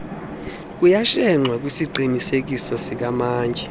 kuyashenxwa kwisiqinisekiso sikamantyi